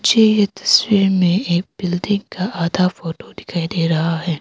झे इस तस्वीर में एक बिल्डिंग का आधा फोटो दिखाई दे रहा है।